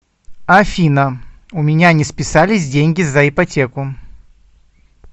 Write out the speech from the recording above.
афина у меня не списались деньги за ипотеку